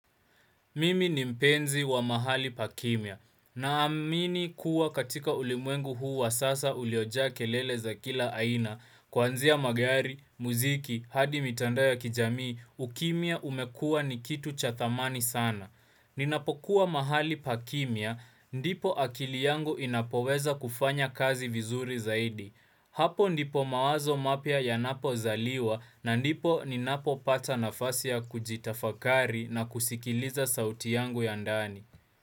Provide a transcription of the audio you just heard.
Mimi ni mpenzi wa mahali pa kimya. Naamini kuwa katika ulimwengu huu wa sasa uliojaa kelele za kila aina. Kwanzia magari, muziki, hadi mitandao ya kijamii, ukimya umekua ni kitu cha thamani sana. Ninapokuwa mahali pa kimya, ndipo akili yangu inapoweza kufanya kazi vizuri zaidi. Hapo ndipo mawazo mapya yanapo zaliwa na ndipo ni napopata nafasi ya kujitafakari na kusikiliza sauti yangu ya ndani.